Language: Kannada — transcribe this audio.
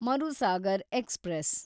ಮರುಸಾಗರ್ ಎಕ್ಸ್‌ಪ್ರೆಸ್